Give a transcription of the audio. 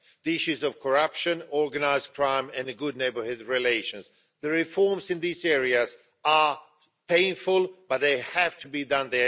The issues of corruption, organised crime and good neighbourhood relations the reforms in these areas are painful, but they have to be done